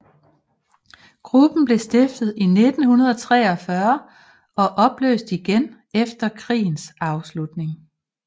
Gruppen blev stiftet i 1943 og opløst igen efter krigens afslutning